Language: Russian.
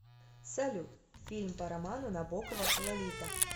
салют фильм по роману набокова лолита